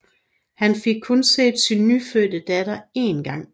Han fik kun set sin nyfødte datter én gang